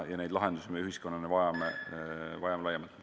Ja neid lahendusi me ühiskonnana vajame laiemalt.